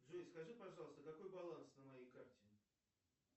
джой скажи пожалуйста какой баланс на моей карте